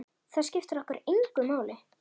Það skiptir okkur engu máli.